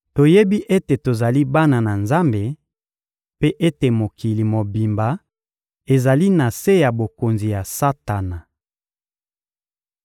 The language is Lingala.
Toyebi ete tozali bana na Nzambe, mpe ete mokili mobimba ezali na se ya bokonzi ya Satana.